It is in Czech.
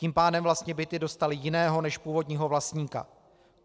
Tím pádem vlastně byty dostaly jiného než původního vlastníka.